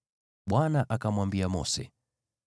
Bwana akamwambia Mose,